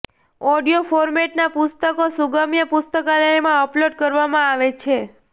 audio ફોર્મેટનાં પુસ્તકો સુગમ્ય પુસ્તકાલયમાં અપલોડ કરવામાં આવે છે